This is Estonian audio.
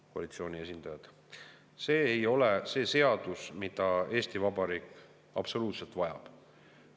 See ei ole absoluutselt see seadus, mida Eesti Vabariik vajab.